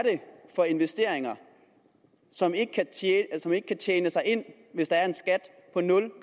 for investeringer som ikke kan tjene sig ind hvis der er en skat